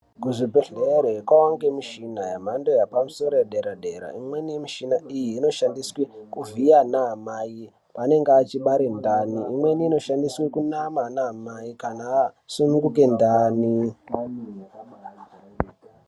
Kuzvibhedhlere kovanikwa muchina yemhando yepamusoro yedera-dera. Imweni yemishina iyi inoshandiswe kuvhiya ana mai panenge achibare ndani. Imweni inoshandiswe kunama ana amai kana asununguke ndani.